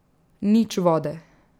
Nič vode.